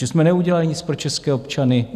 Že jsme neudělali nic pro české občany?